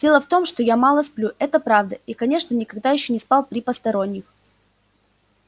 дело в том что я мало сплю это правда и конечно никогда ещё не спал при посторонних